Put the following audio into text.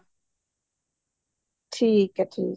ਠੀਕ ਹੈ ਠੀਕ ਹੈ